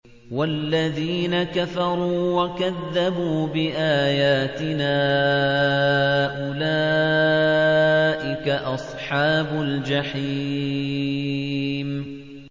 وَالَّذِينَ كَفَرُوا وَكَذَّبُوا بِآيَاتِنَا أُولَٰئِكَ أَصْحَابُ الْجَحِيمِ